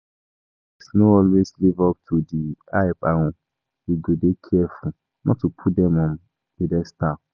Role models no always live up to di hype and we go dey careful not to put dem on pedestal.